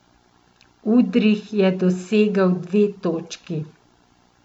Udrih je dosegel dve točki.